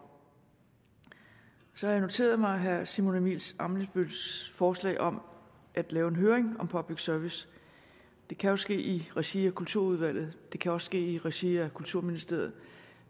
så har jeg noteret mig herre simon emil ammitzbølls forslag om at lave en høring om public service det kan jo ske i regi af kulturudvalget det kan også ske i regi af kulturministeriet